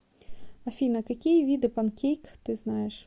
афина какие виды панкейк ты знаешь